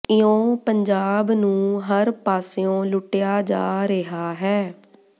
ਇਉਂ ਪੰਜਾਬ ਨੂੰ ਹਰ ਪਾਸਿਓਂ ਲੁੱਟਿਆ ਜਾ ਰਿਹਾ ਹੈ